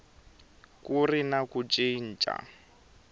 ku ri na ku cinca